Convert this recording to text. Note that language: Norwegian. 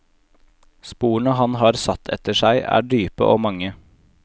Sporene han har satt etter seg, er dype og mange.